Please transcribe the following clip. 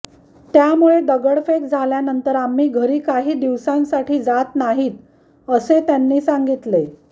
त्यामुळे दगडफेक झाल्यानंतर आम्ही घरी काही दिवसांसाठी जात नाहीत असे त्यांनी सांगितले